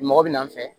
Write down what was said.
Mɔgɔ bɛ n'an fɛ